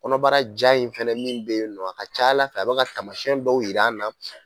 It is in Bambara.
Kɔnɔbara ja in fɛnɛ min be yen nɔ a ca Ala fɛ a bɛ ka taamasiyɛn dɔw yir'an na